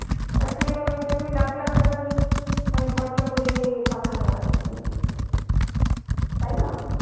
তার ছেলে বা মেয়েটাকে ওই লাখ লাখ টাকা দিয়ে মানে খরচা করে পাঠানো আর কী। তাই না?